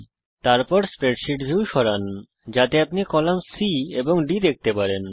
তারপর spreadsheet view সরান যাতে আপনি কলাম C এবং D দেখতে পান